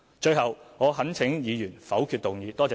最後，我懇請議員否決動議。